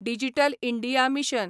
digital India mission